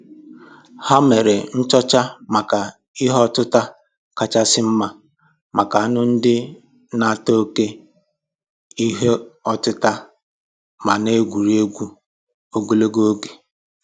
Ha mere nchọcha maka ihe ọtịta kachasị mma maka anụ ndị na-ata oké ìhè ọtịta ma na-egwu egwuregwu ogologo oge